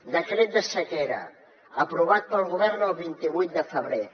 decret de sequera aprovat pel govern el vint vuit de febrer